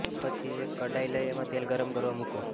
પછી એક કડાઈ લઇ એમાં તેલ ગરમ કરવા મૂકો